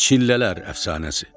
Çillələr əfsanəsi.